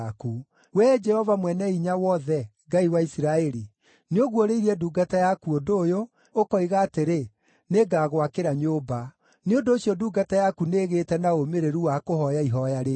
“Wee Jehova Mwene-Hinya-Wothe, Ngai wa Isiraeli, nĩũguũrĩirie ndungata yaku ũndũ ũyũ, ũkoiga atĩrĩ, ‘Nĩngagwakĩra nyũmba.’ Nĩ ũndũ ũcio ndungata yaku nĩĩgĩĩte na ũmĩrĩru wa kũhooya ihooya rĩrĩ.